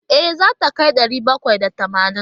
E, zai kai ɗari bakwai da tamanin.